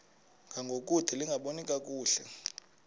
ngangokude lingaboni kakuhle